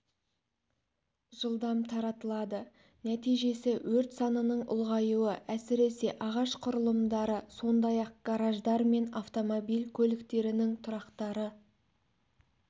жылдам таратылады нәтижесі өрт санының ұлғаюы әсіресе ағаш құрылымдары сондай-ақ гараждар мен автомобиль көліктерінің тұрақтары